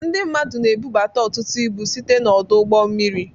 Ndị mmadụ na ebubata ọtụtụ ibu site na ọdụ ụgbọ mmiri.